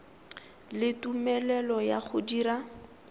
le tumelelo ya go dira